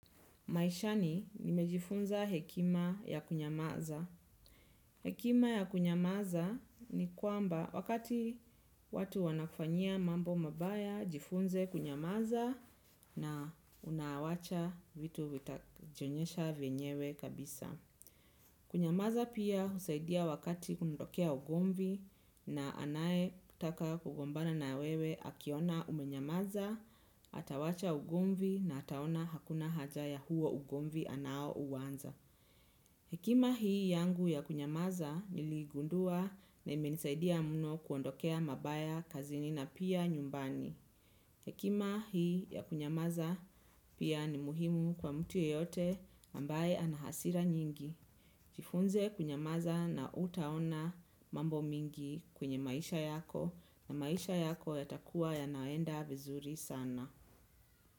Maishani nimejifunza hekima ya kunyamaza. Hekima ya kunyamaza ni kwamba wakati watu wanakufanyia mambo mabaya jifunze kunyamaza na unawacha vitu vitajionyesha venyewe kabisa. Kunyamaza pia husaidia wakati kundokea ugomvi na anaye kutaka kugombana na wewe akiona umenyamaza, atawacha ugomvi na ataona hakuna haja ya huo ugomvi anao uwanza. Hekima hii yangu ya kunyamaza niligundua na imenisaidia mno kuondokea mabaya kazini na pia nyumbani. Hekima hii ya kunyamaza pia ni muhimu kwa mtu yeyote ambaye ana hasira nyingi. Jifunze kwenyamaza na hutaona mambo mingi kwenye maisha yako na maisha yako yatakuwa yanaenda vizuri sana.